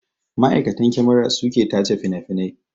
Ma'aikatan kyamara su ke tace finafinai